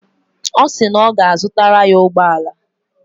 Ọ sị na ọ ga-azụtara ya ụgbọala